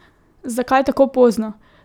Zakaj tako pozno?